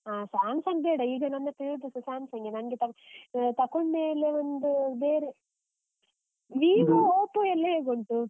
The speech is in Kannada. ಆ, Samsung ಬೇಡ. ಈಗ ನನ್ ಹತ್ರ ಇರುದ್ ಸ Samsung ಗೆ ನಂಗೆ ತಕ್~ ತೊಕೊಂಡ್ ಮೇಲೆ ಒಂದು ಬೇರೆ Vivo, Oppo ಎಲ್ಲ ಹೇಗುಂಟು?